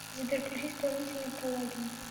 сбер включи исполнителя палагин